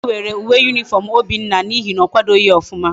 Onye nkuzu were uwe uniform obinna na ihe na okwadoghi nke oma